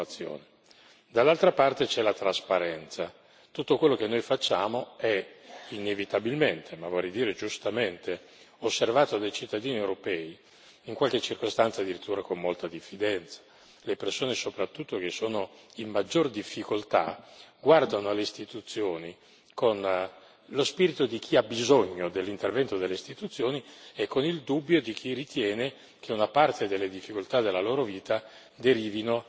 Tutto quello che noi facciamo è, inevitabilmente ma vorrei dire giustamente, osservato dei cittadini europei, in qualche circostanza addirittura con molta diffidenza. Soprattutto le persone che sono in maggior difficoltà guardano alle istituzioni con lo spirito di chi ha bisogno dell'intervento delle istituzioni e con il dubbio di chi ritiene che una parte delle difficoltà della loro vita derivino dall'incertezza oppure dall'incapacità delle istituzioni.